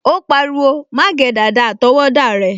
O pariwo, "má gé dàda àtọwọ́dá rẹ"